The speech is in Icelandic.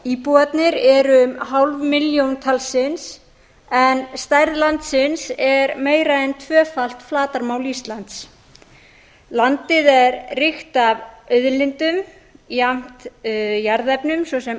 íbúarnir eru um hálf milljón talsins en stærð landsins er meira en tvöfalt flatarmál íslands landið er ríkt af auðlindum jafnt jarðefnum svo sem